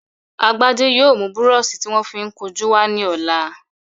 Agbájé yóò mú búrọṣí tí wọ́n fi ń kun jú wá ní ọ̀la